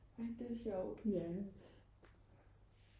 ej det er sjovt